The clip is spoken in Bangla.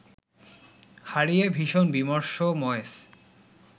হারিয়ে ভীষণ বিমর্ষ ময়েস